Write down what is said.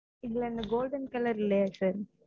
இதுல அந்த golden colour இல்லையா sir?